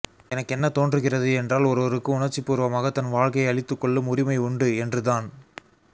எனக்கு என்ன தோன்றுகிறது என்றால் ஒருவருக்கு உணர்ச்சிபூர்வமாக தன் வாழ்க்கையை அழித்துக்கொள்ளும் உரிமை உண்டு என்றுதான்